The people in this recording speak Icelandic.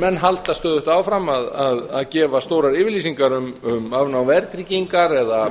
menn halda stöðugt áfram að gefa stórar yfirlýsingar um afnám verðtryggingar eða